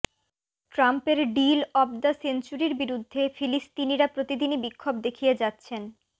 ট্রাম্পের deal of the সেঞ্চুরির বিরুদ্ধে ফিলিস্তিনিরা প্রতিদিনই বিক্ষোভ দেখিয়ে যাচ্ছেন